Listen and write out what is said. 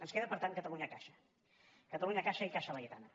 ens queda per tant catalunyacaixa catalunyacaixa i caixa laietana